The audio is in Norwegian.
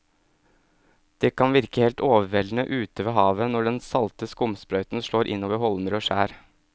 Det kan virke helt overveldende ute ved havet når den salte skumsprøyten slår innover holmer og skjær.